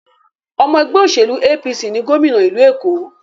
Ọmọ ẹgbẹ́ òṣèlú APC ni gòmìnà ìlú Èkó.